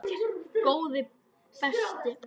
Góði besti!